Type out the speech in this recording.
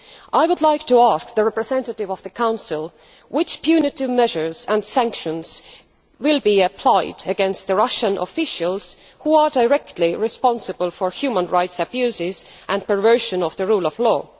I would like to ask the representative of the Council which punitive measures and sanctions will be applied against the Russian officials who are directly responsible for human rights abuses and perversion of the rule of law.